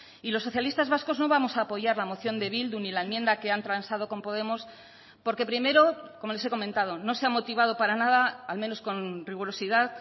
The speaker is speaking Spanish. y los socialistas vascos no vamos a apoyar la moción de bildu ni la enmienda que han transado con podemos porque primero como les he comentado no se ha motivado para nada al menos con rigurosidad